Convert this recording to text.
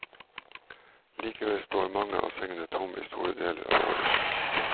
Likevel står mange av sengene tomme i store deler av året.